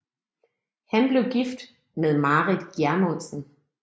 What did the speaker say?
Han blev gift med Marit Gjermundsen